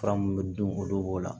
Fura mun dun olu b'o la